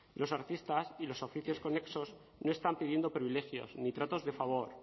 los artistas y los oficios conexos no están pidiendo privilegios ni tratos de favor